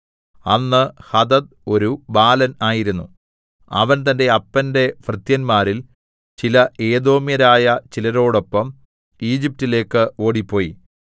അന്ന് ഹദദ് ഒരു ബാലൻ ആയിരുന്നു അവൻ തന്റെ അപ്പന്റെ ഭൃത്യന്മാരിൽ ചില ഏദോമ്യരായ ചിലരോടൊപ്പം ഈജിപ്റ്റിലേക്ക് ഓടിപ്പോയി